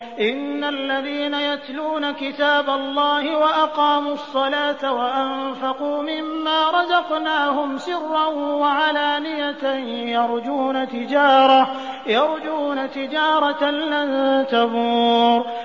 إِنَّ الَّذِينَ يَتْلُونَ كِتَابَ اللَّهِ وَأَقَامُوا الصَّلَاةَ وَأَنفَقُوا مِمَّا رَزَقْنَاهُمْ سِرًّا وَعَلَانِيَةً يَرْجُونَ تِجَارَةً لَّن تَبُورَ